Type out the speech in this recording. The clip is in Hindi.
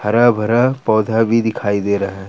हरा भरा पौधा भी दिखाई दे रहा है।